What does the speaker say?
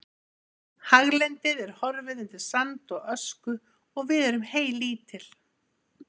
Haglendið er horfið undir sand og ösku og við erum heylítil.